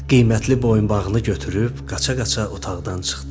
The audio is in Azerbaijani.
Qiymətli boyunbağını götürüb qaça-qaça otaqdan çıxdı.